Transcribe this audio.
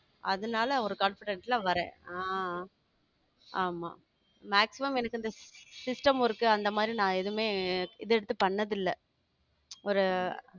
அதனால ஒரு confident ல வர்றேன் ஆ ஆமா maximum எனக்கு இந்த system work அந்த மாறி நான் எதுவுமே இது எடுத்து பண்ணதில்லை ஒரு